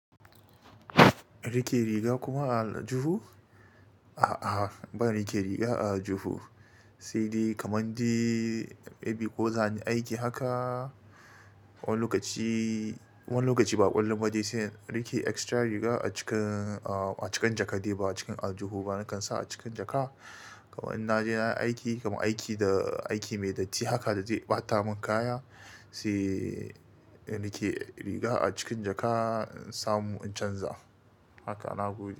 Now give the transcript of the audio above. Riƙe riga kuma a aljuhu? A'a, ban riƙe riga a aljuhu. Sai dai kamar dai, maybe ko zani aiki haka, wani lokaci, wani lokaci ba kullum ba dai sai in riƙe extra riga a cikin, a cikin jaka dai ba a cikin aljuhu ba, nakan sa a cikin jaka. Kamar in naje nayi aiki, kamar aiki da aiki mai datti haka da zai ɓata mun kaya, sai in rike riga a cikin jaka, in samu in canza. Haka nagode.